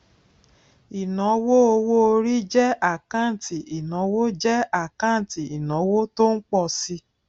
ìnáwó owó orí jẹ àkáǹtì ìnáwó jẹ àkáǹtì ìnáwó tó ń pọ si